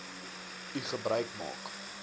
u gebruik maak